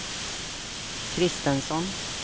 Christensson